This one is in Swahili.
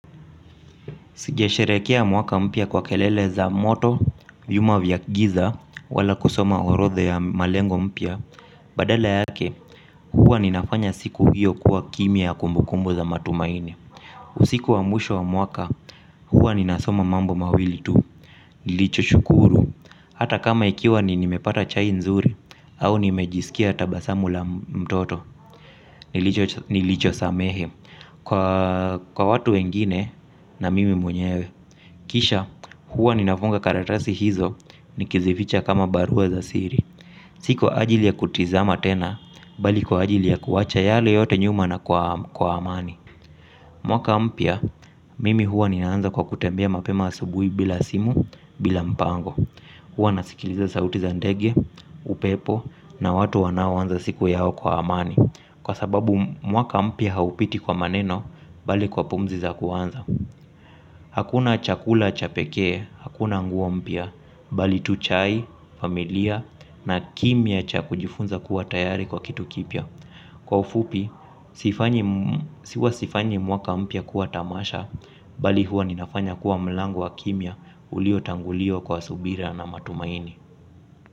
Singesherehekea mwaka mpya kwa kelele za moto vyuma vya giza wala kusoma orodha ya malengo mpya. Badala yake huwa ninafanya siku hiyo kuwa kimya ya kumbukumbu za matumaini. Usiku wa mwisho wa mwaka huwa ninasoma mambo mawili tu. Nilicho shukuru hata kama ikiwa ni nimepata chai nzuri au nimejisikia tabasamu la mtoto. Nilicho samehe kwa watu wengine na mimi mwenyewe. Kisha huwa ninafunga karatasi hizo nikizificha kama barua za siri. Si kwa ajili ya kutizama tena bali kwa ajili ya kuwacha yale yote nyuma na kwa amani. Mwaka mpya mimi huwa ninaanza kwa kutembea mapema asubuhi bila simu bila mpango. Huwa nasikiliza sauti za ndege, upepo na watu wanaoanza siku yao kwa amani. Kwa sababu mwaka mpya haupiti kwa maneno, bali kwa pumzi za kuuanza. Hakuna chakula cha pekee, hakuna nguo mpya, bali tu chai, familia na kimya cha kujifunza kuwa tayari kwa kitu kipya. Kwa ufupi, huwa sifanyi mwaka mpya kuwa tamasha, bali huwa ninafanya kuwa mlango wa kimya uliotangulio kwa subira na matumaini.